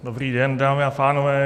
Dobrý den, dámy a pánové.